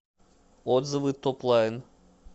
отзывы топлайн